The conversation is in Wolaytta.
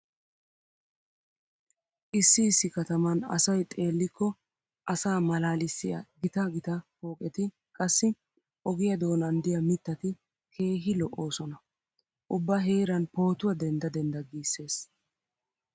Issi issi kataman asay xellikko asaa malaalissiya gita gita pooqetinne qassi ogiya doonan diya mittati keehi lo'oosona. Ubba heeran pootuwa dendda dendda giissees.